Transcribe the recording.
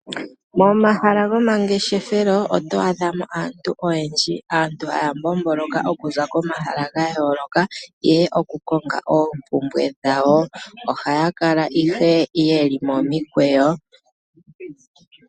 Momahala gomangeshefelo oto adha mo aantu oyendji. Aantu haya mbomboloka oku za komahala ga yooloka, ihe oku konga oompumbwe dhawo. ohaya kala ihe ye li momikweyo.